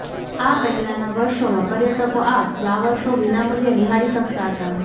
આ પહેલાના વર્ષોમાં પર્યટકો આ ફલાવર શો વિનામુલ્યે નિહાળી શકતા હતા